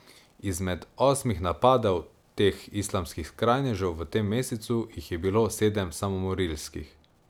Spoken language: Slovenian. Izmed osmih napadov teh islamskih skrajnežev v tem mesecu jih je bilo sedem samomorilskih.